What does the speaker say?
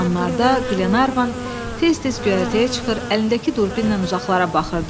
Bu anlarda Glenarvan tez-tez göyərtəyə çıxır, əlindəki durbinlə uzaqlara baxırdı.